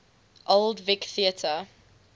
old vic theatre